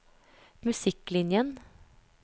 musikklinjen